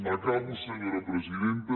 acabo senyora presidenta